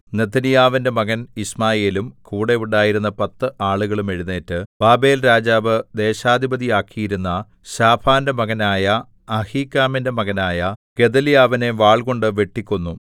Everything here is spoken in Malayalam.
നെഥന്യാവിന്റെ മകൻ യിശ്മായേലും കൂടെ ഉണ്ടായിരുന്ന പത്ത് ആളുകളും എഴുന്നേറ്റ് ബാബേൽരാജാവ് ദേശാധിപതിയാക്കിയിരുന്ന ശാഫാന്റെ മകനായ അഹീക്കാമിന്റെ മകനായ ഗെദല്യാവിനെ വാൾകൊണ്ട് വെട്ടിക്കൊന്നു